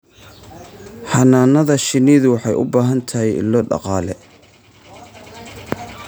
Xannaanada shinnidu waxay u baahan tahay ilo dhaqaale.